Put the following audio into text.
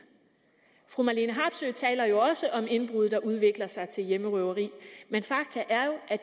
fru marlene harpsøe taler jo også om indbrud der udvikler sig til hjemmerøverier men fakta er jo at